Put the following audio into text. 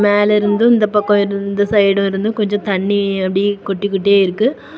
மேல இருந்தும் இந்த பக்கம் இருந்து இந்த சைடுல இருந்தும் கொஞ்சம் தண்ணி அப்டி கொட்டிகிட்டே இருக்கு.